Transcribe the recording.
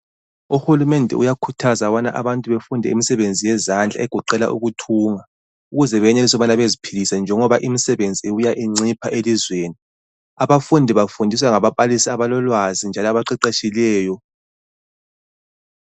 Uhulumende uyakhuthaza bana abantu befunde imisebenzi yezandla egoqela ukuthunga ukuze benelise ukuba beziphilise njengoba imisebenzi ibuya incipha elizweni. Abafundi bafundiswa ngababalisi abalolwazi njalo abaqeqetshileyo.